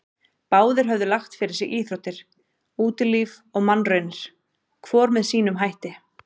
Báðir höfðu lagt fyrir sig íþróttir, útilíf og mannraunir, hvor með sínum hætti.